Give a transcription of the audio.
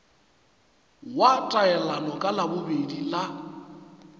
wa taelano ka labobedi la